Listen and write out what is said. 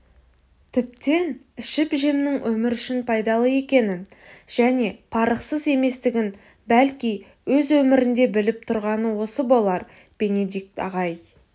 тіптен ішіп-жемнің өмір үшін пайдалы екенін және парықсыз еместігін бәлки өз өмірінде біліп тұрғаны осы болар бенедикт ағай